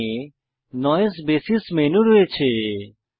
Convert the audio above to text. এখানে নইসে বাসিস মেনু রয়েছে